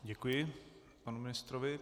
Děkuji panu ministrovi.